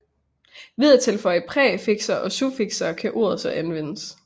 Ved at tilføje præfikser og suffikser kan ordet så anvendes